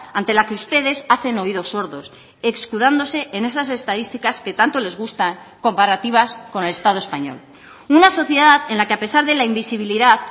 ante la que ustedes hacen oídos sordos escudándose en esas estadísticas que tanto les gusta comparativas con el estado español una sociedad en la que a pesar de la invisibilidad